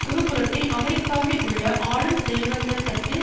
ஒரு புறத்தில் அமெரிக்காவில் உள்ள ஆளும் செல்வந்த தட்டு